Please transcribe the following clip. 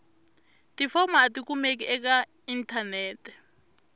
tifomo a tikumeki eka inthanete